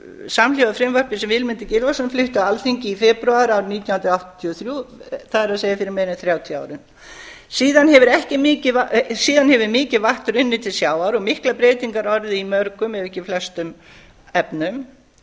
samhljóða frumvarpi sem vilmundur gylfason flutti á alþingi í febrúar árið nítján hundruð áttatíu og þrjú það er fyrir meira en þrjátíu árum síðan hefur mikið vatn runnið til sjávar og miklar breytingar orðið í mörgum ef ekki flestum efnum